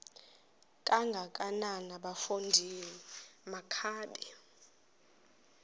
kangakanana bafondini makabe